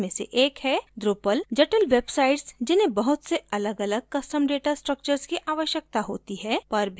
drupal जटिल websites जिन्हें बहुत से अलगअलग custom data structures की आवश्यकता होती है पर भी अच्छी तरह कार्य करता है